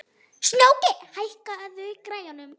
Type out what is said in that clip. Snjóki, hækkaðu í græjunum.